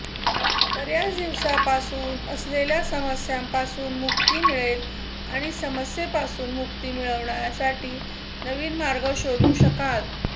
बऱ्याच दिवसांपासून असलेल्या समस्यांपासून मुक्ती मिळेल आणि समस्येपासून मुक्ती मिळवण्यासाठी नवीन मार्ग शोधू शकाल